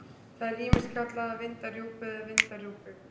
Það er ýmist kallað að vinda rjúpu eða vinda í rjúpu.